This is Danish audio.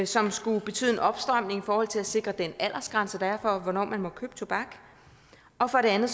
som skulle betyde en opstramning i forhold til at sikre den aldersgrænse der er for hvornår man må købe tobak og for det andet